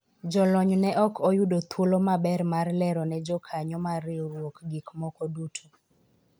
jolony ne ok oyudo thuolo maber mar lero ne jokanyo mar riwruok gik moko duto